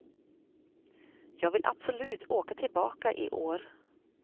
Jag vill absolut åka tillbaka i år.